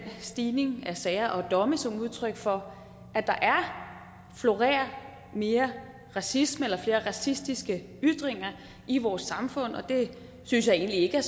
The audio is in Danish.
stigning af sager og domme som udtryk for at der florerer mere racisme eller flere racistiske ytringer i vores samfund og det synes jeg egentlig ikke er